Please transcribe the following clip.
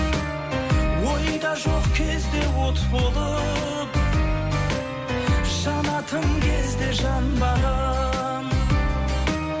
ойда жоқ кезде от болып жанатын кезде жанбаған